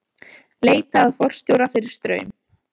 Leita að forstjóra fyrir Straum